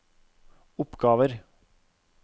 oppgaver